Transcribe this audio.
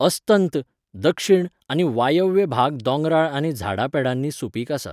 अस्तंत, दक्षिण आनी वायव्य भाग दोंगराळ आनी झाडांपेडांनी सुपीक आसा.